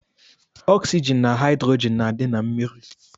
Ọksygin na haidrogin na adi na mmiri.